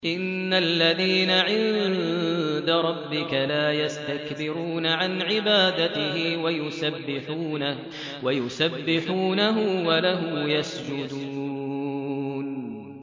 إِنَّ الَّذِينَ عِندَ رَبِّكَ لَا يَسْتَكْبِرُونَ عَنْ عِبَادَتِهِ وَيُسَبِّحُونَهُ وَلَهُ يَسْجُدُونَ ۩